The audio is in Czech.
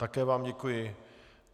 Také vám děkuji.